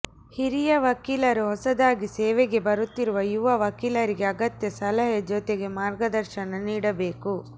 ಹಿರಿಯ ವಕೀಲರು ಹೊಸದಾಗಿ ಸೇವೆಗೆ ಬರುತ್ತಿರುವ ಯುವ ವಕೀಲರಿಗೆ ಅಗತ್ಯ ಸಲಹೆ ಜತೆಗೆ ಮಾರ್ಗದರ್ಶನ ನೀಡಬೇಕು